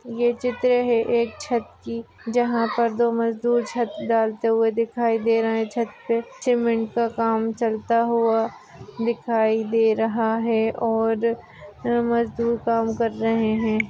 ये चित्र है किसी छत की जहा पर दो मजदूर छत डालते हुए दिखाई दे रहे है छत पे सीमेंट का काम चलता हुआ दिखाई दे रहा है और मजदूर काम कर रहे है।